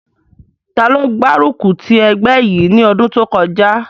Taló gbárùkù ti ẹgbẹ́ yìí ní ọdún kọjá?